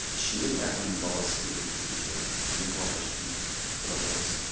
ішінде бір әкімнің баласы или бір туысы бар или главврачтың құда баласы